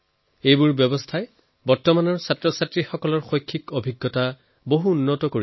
এই সকলো প্ৰয়াসে বৰ্তমান বিদ্যাৰ্থীৰ লাৰ্নিং এক্সপেৰিয়েঞ্চক ইম্প্ৰভ কৰে